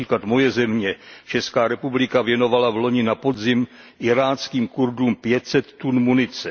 Například moje země, Česká republika, věnovala vloni na podzim iráckým Kurdům pět set tun munice.